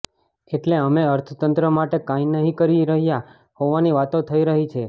એટલે અમે અર્થતંત્ર માટે કંઈ નહીં કરી રહ્યા હોવાની વાતો થઈ રહી છે